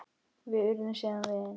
Við urðum síðan vinir.